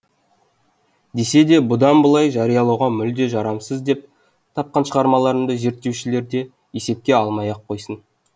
десе де бұдан былай жариялауға мүлде жарамсыз деп тапқан шығармаларымды зерттеушілер де есепке алмай ақ қойсын